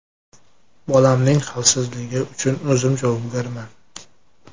Bolamning xavfsizligi uchun o‘zim javobgarman.